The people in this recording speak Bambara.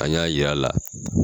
An y'a yir'a la